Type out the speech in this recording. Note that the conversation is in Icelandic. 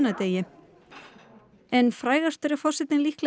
en frægastur er forsetinn líklegast fyrir andúð sína á